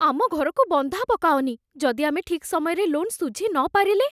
ଆମ ଘରକୁ ବନ୍ଧା ପକାଅନି । ଯଦି ଆମେ ଠିକ୍ ସମୟରେ ଲୋନ୍ ଶୁଝିନପାରିଲେ?